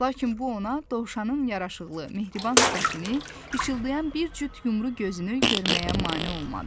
Lakin bu ona dovşanın yaraşıqlı, mehriban sifətini, işıldayan bir cüt yumru gözünü görməyə mane olmadı.